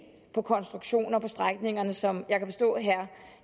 på konstruktioner på de strækninger som jeg kan forstå at herre